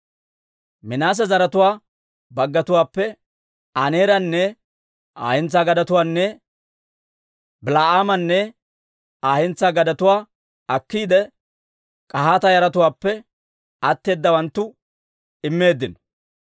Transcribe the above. Minaase zaratuwaa baggatuwaappe Aneeranne Aa hentsaa gadetuwaanne Bil"aamanne Aa hentsaa gadetuwaa akkiide, K'ahaata yaratuwaappe atteeddawanttoo immeeddino.